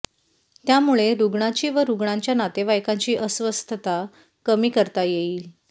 त्यामुळे रुग्णाची व रुग्णांच्या नातेवाईकांची अस्वस्थता कमी करता येईल